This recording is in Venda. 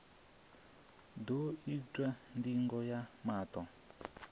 ḓo itwa ndingo ya maṱo